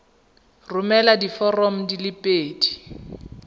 romela diforomo di le pedi